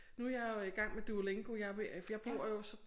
Nu jeg jo i gang med Duolingo jeg jeg bor jo så